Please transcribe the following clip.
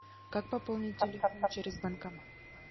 как пополнить телефон через банкомат